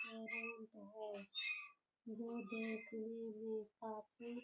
ये रोड है जो देखने में काफ़ी --